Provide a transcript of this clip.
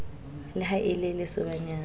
le ha e le lesobanyana